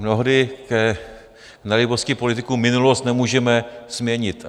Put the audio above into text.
Mnohdy k nelibosti politiků minulost nemůžeme změnit.